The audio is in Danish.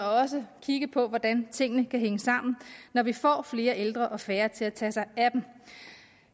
også kigge på hvordan tingene kan hænge sammen når vi får flere ældre og færre til at tage sig af dem